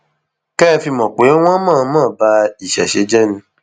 kẹ ẹ fi mọ pé wọn ń mọọnmọ ba ìṣẹṣẹ jẹ ni